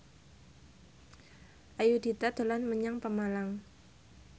Ayudhita dolan menyang Pemalang